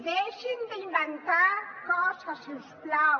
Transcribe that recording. deixin d’inventar coses si us plau